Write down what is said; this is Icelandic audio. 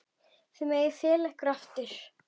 Þið megið fela ykkur aftur.